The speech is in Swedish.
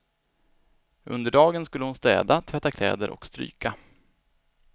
Under dagen skulle hon städa, tvätta kläder och stryka.